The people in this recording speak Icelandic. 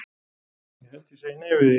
Ég held ég segi nei við því.